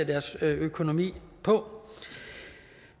deres økonomi på